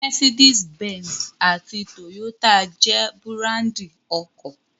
Mercedes Benz àti Toyota jẹ́ búráńdì ọkọ̀.